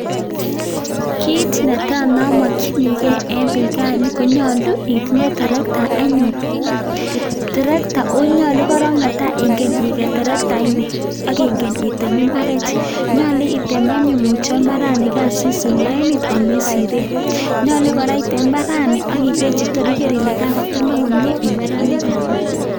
Kit netai nemakinigei en pikani konyalu itinye terekta anyun terekta konyalu koron netai Ingen iget terekta ini akingaen item imbaretnyalu item anyun imbaranikan sisib lainit amesiren nyalu koraa item imbarani akiker Kole tor katemak komie imbaranigano